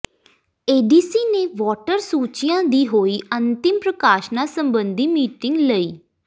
ADC ਨੇ voter ਸੂਚੀਆਂ ਦੀ ਹੋਈ ਅੰਤਿਮ ਪ੍ਰਕਾਸ਼ਨਾਂ ਸਬੰਧੀ ਮੀਟਿੰਗ ਲਈ